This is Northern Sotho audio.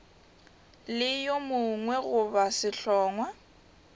le yo mongwe goba sehlongwa